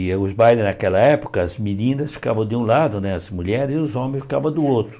E os bailes naquela época, as meninas ficavam de um lado, né as mulheres, e os homens ficavam do outro.